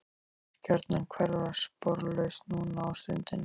Þú mátt gjarnan hverfa sporlaust núna á stundinni.